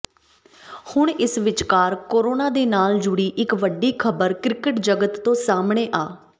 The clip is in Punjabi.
ਹੁਣ ਇਸ ਵਿਚਕਾਰ ਕੋਰੋਨਾ ਦੇ ਨਾਲ ਜੁੜੀ ਇੱਕ ਵੱਡੀ ਖਬਰ ਕ੍ਰਿਕਟ ਜਗਤ ਤੋਂ ਸਾਹਮਣੇ ਆ